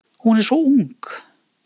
Hún er svo ung.